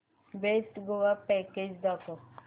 best Goa package दाखव